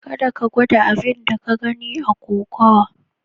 Kada ka gwada abin da ka gani a kokowa.